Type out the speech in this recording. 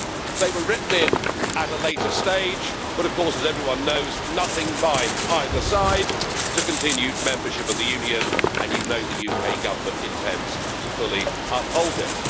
They were written in at a later stage, but of course, as everyone knows, nothing binds either side to continued membership of the Union, and you know the UK Government intends to fully uphold it.